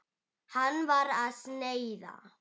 Hann var að snæða.